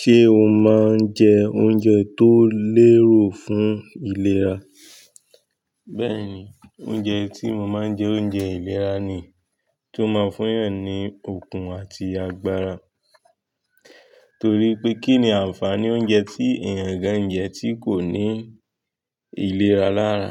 Ṣé o máa ń jẹ oúnjẹ tó lérò fún ìlera? Bẹ́ẹ̀ni, oúnjẹ tí mo máa ń jẹ oúnjẹ ìlera ni, tó máa ń fún èèyàn ní okun àti agbára. Torí pé kí ni ànfàní oúnjẹ tí èèyàn gan jẹ tí kò ní ìlera lára?